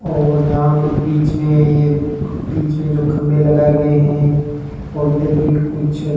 और यहां कुछ बीच में ये बीच में जो खंबे लगाए गए हैं और इधर भी कुछ --